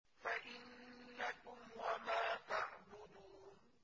فَإِنَّكُمْ وَمَا تَعْبُدُونَ